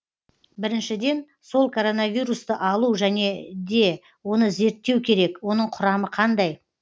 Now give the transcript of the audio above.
біріншіден сол коронавирусты алу және де оны зерттеу керек оның құрамы қандай